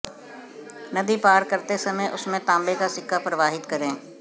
नदी पार करते समय उसमें तांबे का सिक्का प्रवाहित करें